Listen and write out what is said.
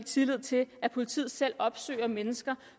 tillid til at politiet selv opsøger mennesker